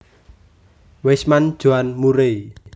Weisman Joan Murray